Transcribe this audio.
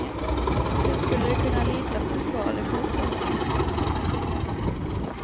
Hur skulle de kunna lita på skal i fortsättningen.